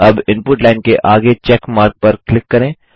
अब input line के आगे चेक मार्क पर क्लिक करें